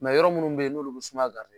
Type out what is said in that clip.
yɔrɔ munnu be yen n'olu bi sumaya